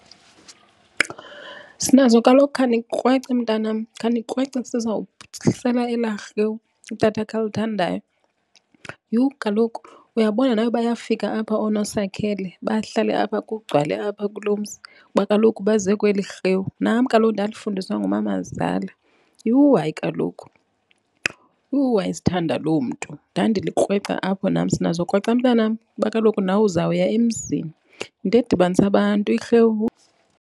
Sinazo kaloku khanikrwece mntanam khanikrwece elarhewu utatakho alithandayo. Yhu kaloku uyabona nawe bayafika apha ooNosakhele bahlale apha kugcwale apha kuloo mzi kuba kaloku baze kweli rhewu. Nam kaloku ndalifundiswa ngumamazala. Yhu hayi kaloku yhu wayezithanda loo mntu. Ndandilikrweca apho nam, Sinazo krweca mntanam kuba kaloku nawe uzawuya emzini. Yinto edibanisa abantu irhewu.